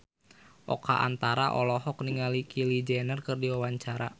Oka Antara olohok ningali Kylie Jenner keur diwawancara